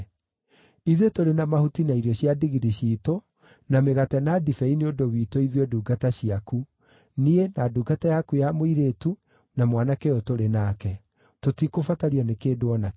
Ithuĩ tũrĩ na mahuti na irio cia ndigiri ciitũ na mĩgate na ndibei nĩ ũndũ witũ ithuĩ ndungata ciaku, niĩ, na ndungata yaku ya mũirĩtu, na mwanake ũyũ tũrĩ nake. Tũtikũbatario nĩ kĩndũ o na kĩ.”